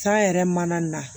San yɛrɛ mana na